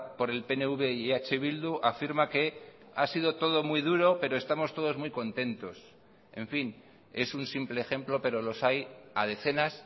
por el pnv y eh bildu afirma que ha sido todo muy duro pero estamos todos muy contentos en fin es un simple ejemplo pero los hay a decenas